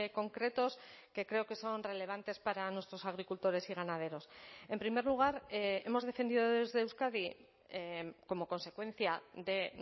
concretos que creo que son relevantes para nuestros agricultores y ganaderos en primer lugar hemos defendido desde euskadi como consecuencia de